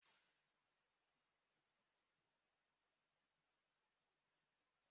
Onye kpara Nkechi isi kpakpando atọ ahụ akpataghi ya